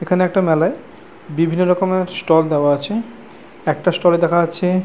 এখানে একটা মেলায় বিভিন্ন রকমের ষ্টল দেওয়া আছে একটা স্টলে দেখা যাচ্ছে ।